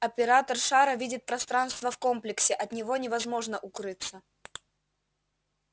оператор шара видит пространство в комплексе от него невозможно укрыться